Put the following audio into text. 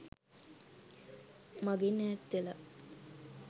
මගෙන් ඈත් වෙලා.